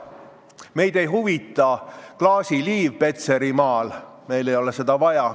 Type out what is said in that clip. Meid ei huvita klaasiliiv Petserimaal, meil ei ole seda vaja.